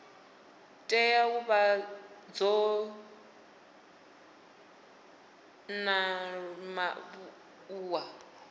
tea u vha dzo ṱanḓavhuwa